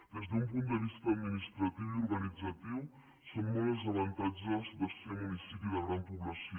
des d’un punt de vista administratiu i organitzatiu són molts els avantatges de ser municipi de gran població